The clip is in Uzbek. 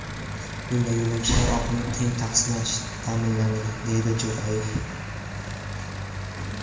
Bunda yo‘lovchilar oqimi teng taqsimlanishi ta’minlandi”, deydi Jo‘rayev.